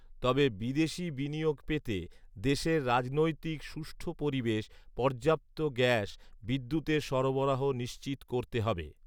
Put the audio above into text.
‘তবে বিদেশি বিনিয়োগ পেতে দেশের রাজনৈতিক সুষ্ঠৃু পরিবেশ, পর্যাপ্ত গ্যাস বিদ্যুতের সরবরাহ নিশ্চিত করতে হবে